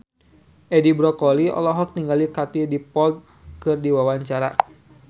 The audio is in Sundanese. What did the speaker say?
Edi Brokoli olohok ningali Katie Dippold keur diwawancara